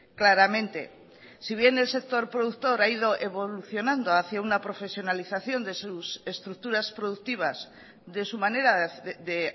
claramente si bien el sector productor ha ido evolucionando hacía una profesionalización de sus estructuras productivas de su manera de